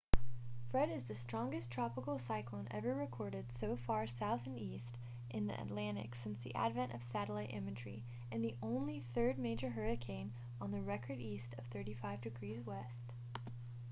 fred is the strongest tropical cyclone ever recorded so far south and east in the atlantic since the advent of satellite imagery and only the third major hurricane on record east of 35°w